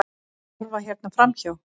Horfa hérna framhjá!